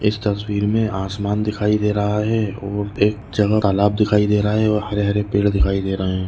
इस तस्वीर मे आसमान दिखाई दे रहा है और एक जगह तालाब दिखाई दे रहा है और हरे-हरे पेड़ दिखाई दे रहे है।